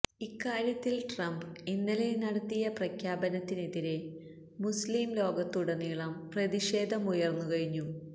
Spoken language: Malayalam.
ഇക്കാര്യത്തിൽ ട്രംപ് ഇന്നലെ നടത്തിയ പ്രഖ്യാപനത്തിനെതിരെ മുസ്ലിം ലോകത്തുടനീളം പ്രതിഷേധമുയർന്നു കഴിഞ്ഞു